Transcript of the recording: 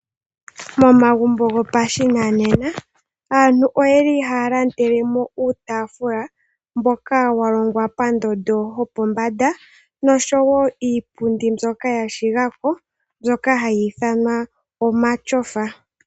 Momagumbo gopashinanena aantu oyeli haya landele mo uutaafula mboka wa longwa pondondo yopombanda. Nosho wo iipundi mbyoka ya shiga ko hayi ithanwa omatyofa.